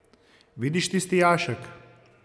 Vidiš tisti jašek?